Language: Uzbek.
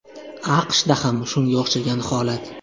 AQShda ham shunga o‘xshash holat.